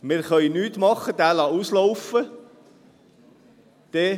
Wir können nichts tun und ihn auslaufen lassen.